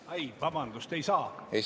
Ai, vabandust, ei saa!